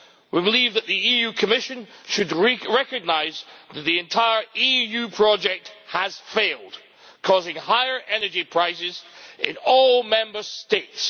We believe that the Commission should recognise that the entire EU project has failed, causing higher energy prices in all Member States.